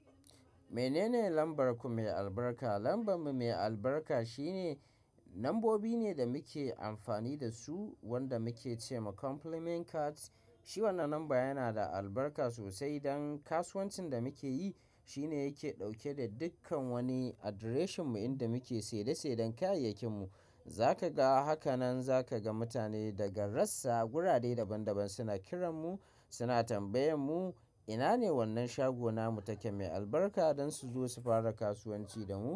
Menene lambar ku mai albarka? Lambar mu mai albarka shine, lambobi ne da muke amfani da su wanda muke ce ma complement cards. Shi wannan lamba yana da albarka sosai don kasuwancin da muke yi. Shi ne yake ɗauke da dukkan wani adireshin mu inda muke sai da sai don kayayyakin mu. Za ka ga, haka nan za ka ga mutane daga rassa, gurade daban daban suna kiran mu, suna tambayan mu, ina ne wannan shago namu take mai albarka don su zo su fara kasuwanci da mu.